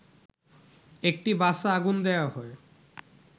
একটি বাসে আগুন দেয়া হয়